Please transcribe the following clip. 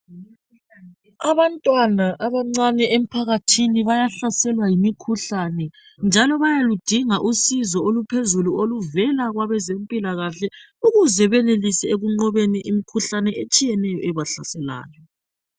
abantwana abancane emphakathini bayahlaselwa yimikhuhlane njalo bayaludinga usizo oluphezulu oluvela kwabezempilakahle ukuze benelise ekunqobeni imkhuhlane etshiyeneyo ebahlaseayo